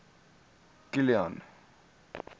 kilian